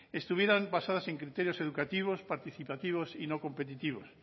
estuvieran basadas en criterios educativos participativos y no competitivos